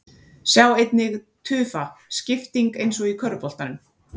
Sjá einnig: Tufa: Skipting eins og í körfuboltanum